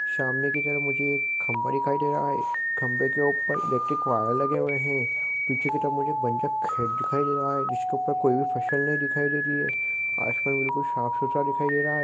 सामने की तरफ मुझे एक खंबा दिखाई दे रहा है खंभे के ऊपर इलेक्ट्रिक वायर लगे हुए है पीछे की तरफ मुझे बँचक खेत दिखाई दे रहा है जिसके ऊपर कोई भी फसल नहीं दिखाई दे रही है आसमान बिल्कुल साफ सुथरा दिखाई दे रहा हे।